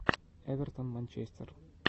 эвертон манчестер